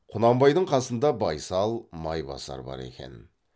құнанбайдың қасында байсал майбасар бар екен